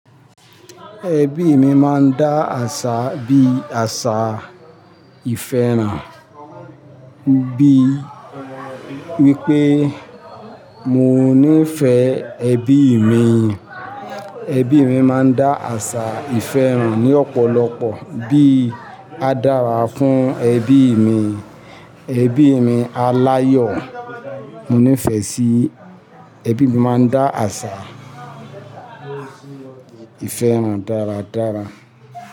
Ẹbí mi máa ń dá àṣà bíi àṣà ìfẹ́ ràn, bí wípé mo níì fẹ́ ẹbí mi. Ẹbí mi máa ń dá àṣà ìfẹ́ ràn ní ọ̀pọ̀lọpọ̀ bí i "Á dára fún ẹbí mi", "Ẹbí mi a ni áyọ̀", "Mo nífẹ̀ẹ́ sí ẹbí mi". Máa ń dá àṣà ìfẹ́ hàn dáradára.